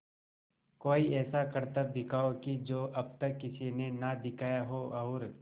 कोई ऐसा करतब दिखाओ कि जो अब तक किसी ने ना दिखाया हो और